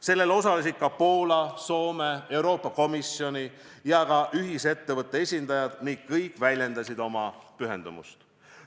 Sellel osalesid ka Poola, Soome, Euroopa Komisjoni ja ühisettevõtte esindajad ning kõik väljendasid oma pühendumust.